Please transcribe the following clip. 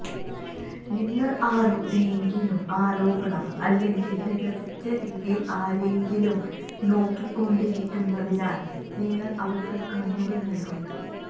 നിങ്ങൾ ആരോടെങ്കിലും ആരോപണം അല്ലെങ്കിൽ നിരസിച്ച രീതിയിൽ ആരെങ്കിലും നോക്കിക്കൊണ്ടിരിക്കുന്നതിനാൽ നിങ്ങൾ അവർക്ക് കണ്ണുകൾ നൽകും